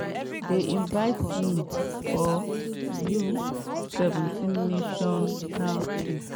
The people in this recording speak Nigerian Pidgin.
dem invite me for u-17 national team.